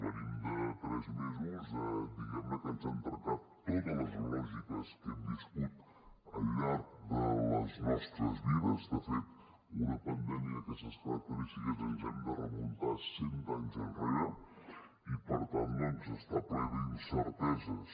venim de tres mesos diguemne que ens han trencat totes les lògiques que hem viscut al llarg de les nostres vides de fet per a una pandèmia d’aquestes característiques ens hem de remuntar cent anys enrere i per tant doncs està ple d’incerteses